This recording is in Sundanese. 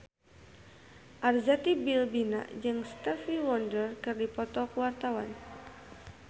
Arzetti Bilbina jeung Stevie Wonder keur dipoto ku wartawan